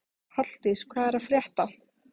Halldís, hvað er að frétta?